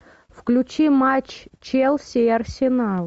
включи матч челси и арсенал